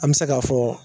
An bɛ se k'a fɔ